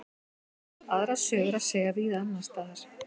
Aðra sögu er að segja víða annars staðar.